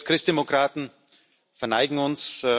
Wir als Christdemokraten verneigen uns.